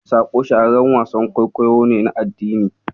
"Saƙo" shahararren wasan kwaikwayo ne na addini.